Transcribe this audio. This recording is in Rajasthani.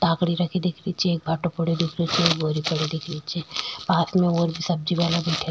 टाकरी रखी दिख री छे एक भाटो पड़यो दिख रेहो छे बोरी पडी दिख री छे पास में और भी सब्जी वाला बैठा --